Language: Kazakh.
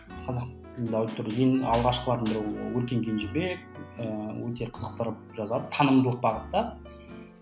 қазақ тілді аудиторияда ең алғашқылардың бірі ол өркен кенжебек ыыы өте қызықтырып жазады танымдылық бағытта